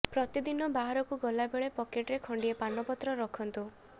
ପ୍ରତିଦିନ ବାହାରକୁ ଗଲା ବେଳେ ପକେଟରେ ଖଣ୍ଡିଏ ପାନପତ୍ର ରଖନ୍ତୁ